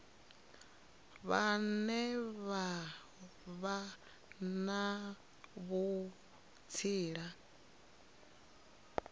vhane vha vha na vhutsila